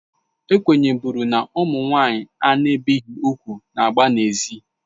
Ekwenye bụrụ na: Ụmụ nwanyị a na-ebighị úgwù na-agba na ezi.